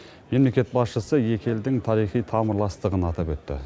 мемлекет басшысы екі елдің тарихи тамырластығын атап өтті